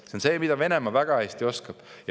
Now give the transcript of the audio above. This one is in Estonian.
See on see, mida Venemaa väga hästi oskab.